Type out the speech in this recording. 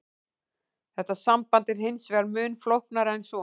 Þetta samband er hins vegar mun flóknara en svo.